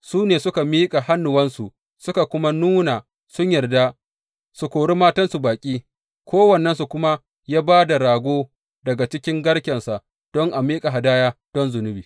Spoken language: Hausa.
Su ne suka miƙa hannuwansu suka nuna sun yarda su kori matansu baƙi, kowannensu kuma ya ba da rago daga cikin garkensa don a miƙa hadaya don zunubi.